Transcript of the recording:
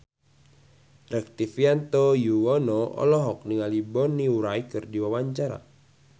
Rektivianto Yoewono olohok ningali Bonnie Wright keur diwawancara